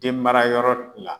Den mara yɔrɔ la